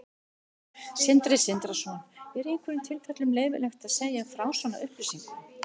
Sindri Sindrason: Er í einhverjum tilfellum leyfilegt að segja frá svona upplýsingum?